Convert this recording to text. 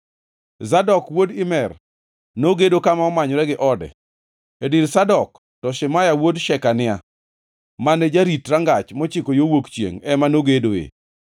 Zadok wuod Imer nogedo kama omanyore gi ode. E dir Zadok, to Shemaya wuod Shekania, mane jarit Rangach mochiko yo wuok chiengʼ, ema nogedoe.